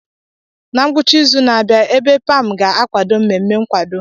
Na ngwụcha izu na-abịa, Ebe pam ga-akwado mmemme nkwado.